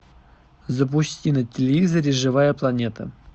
запусти на телевизоре живая планета